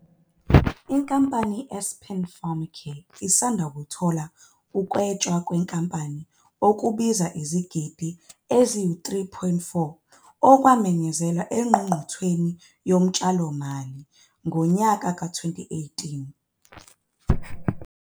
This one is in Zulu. Inkampani iAspen Pharmacare isanda kwethula ukunwetshwa kwenkampani okubize izigidigidi eziyi-R3.4, okwamenyezelwa eNgqungqutheleni Yotshalomali ngowezi-2018.